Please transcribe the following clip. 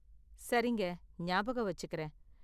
சரிங்க. ஞாபகம் வச்சிக்கறேன்.